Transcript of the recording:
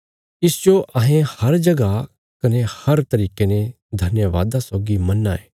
इसजो अहें हर जगह कने हर तरिके ने धन्यवादा सौगी मन्ना यें